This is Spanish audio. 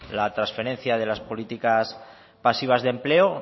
la transferencia de las políticas pasivas de empleo